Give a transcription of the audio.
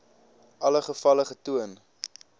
alle gevalle getoon